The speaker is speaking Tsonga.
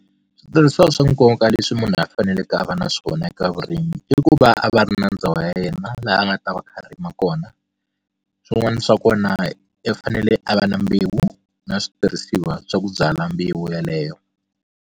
Switirhisiwa swa nkoka leswi munhu a faneleke a va na swona eka vurimi i ku va a va ri na ndhawu ya yena laha a nga ta va a kha a rima kona swin'wana swa kona i fanele a va na mbewu na switirhisiwa swa ku byala mbewu yeleyo.